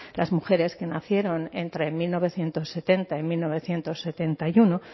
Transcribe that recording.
las mujeres que nacieron entre mil novecientos setenta y mil novecientos setenta y uno